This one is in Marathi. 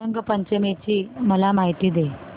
रंग पंचमी ची मला माहिती दे